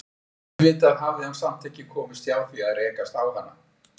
Auðvitað hafði hann samt ekki komist hjá því að rekast á hana.